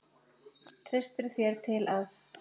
Treystirðu þér til að?